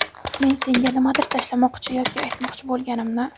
men senga nimadir tashlamoqchi yoki aytmoqchi bo‘lganimni.